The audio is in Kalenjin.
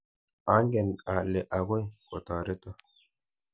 Angen ale akoi kotoreto.